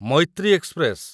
Maitri express